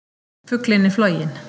Fuglinn er floginn!